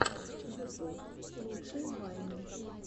ютуб лучшие вайны